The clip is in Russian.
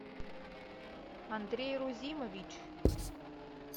андрей рузимович